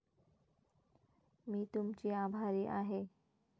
मी तुमची आभारी आहे.